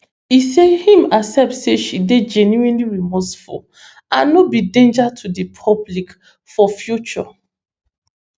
e say im accept say she dey genuinely remorseful and no be danger to di public foyfuture